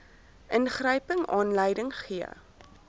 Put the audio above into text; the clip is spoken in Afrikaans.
ingryping aanleiding gee